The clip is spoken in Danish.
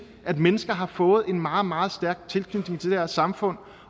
at mennesker har fået en meget meget stærk tilknytning til det her samfund